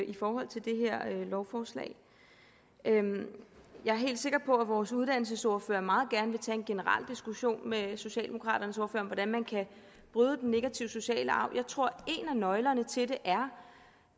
i forhold til det her lovforslag jeg er helt sikker på at vores uddannelsesordfører meget gerne vil tage en generel diskussion med socialdemokraternes ordfører om hvordan man kan bryde den negative sociale arv jeg tror en af nøglerne til det er